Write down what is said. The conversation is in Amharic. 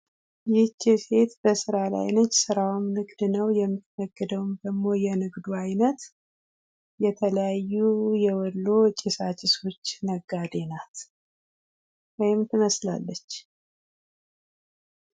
ይቺ ሴት በስራ ላይ ነች ስራዋም ንግድ ነው ።የምትነግደውም ደግሞ የንግዱ አይነት የተለያዩ የወሎ ጭሳጭሶች ነጋዴ ናት ወይም ትመስላለች።